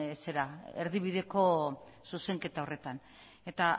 erdibideko zuzenketa horretan eta